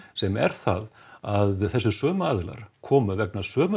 sem er það að þessir sömu aðilar komu vegna sömu